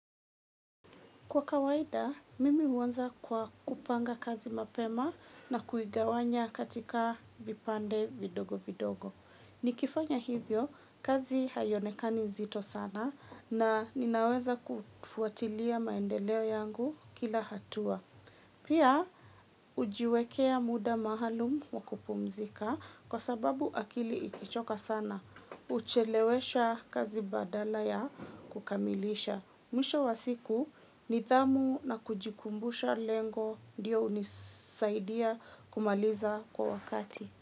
Kwa kawaida, mimi huanza kwa kupanga kazi mapema na kuigawanya katika vipande vidogo vidogo. Nikifanya hivyo, kazi haionekani zito sana na ninaweza kufuatilia maendeleo yangu kila hatua. Pia, hujiwekea muda maalum wa kupumzika kwa sababu akili ikichoka sana. Huchelewesha kazi badala ya kukamilisha. Mwisho wa siku nidhamu na kujikumbusha lengo ndiyo hunisaidia kumaliza kwa wakati.